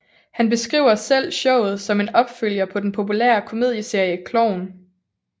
Han beskriver selv showet som en opfølger på den populære komedieserie Klovn